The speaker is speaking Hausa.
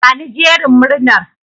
Bani jerin murnar.